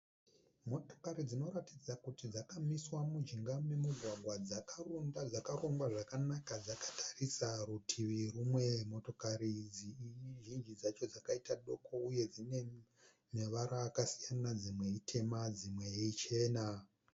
Motokari dzinoratidza kuti dzakamiswa mujinga memugwagwa dzakarunda, dzakarongwa zvakanaka dzakatarisa rutivi rumwe. motokari idzi zhinji dzacho dzakaita doko dzine ruvara rwakasiyana dzimwe itema dzimwe ichena.